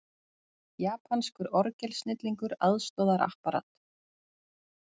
Japanskur orgelsnillingur aðstoðar Apparat